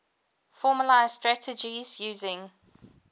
formalised strategies using